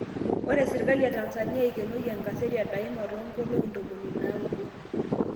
Ore serikali e Tanzania eikenoyie enkaseti e Daima tonkolongi 90.